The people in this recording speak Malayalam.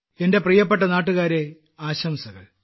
എന്റെ പ്രിയപ്പെട്ട നാട്ടുകാരേ ആശംസകൾ